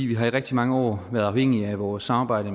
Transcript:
vi har i rigtig mange år været afhængige af vores samarbejde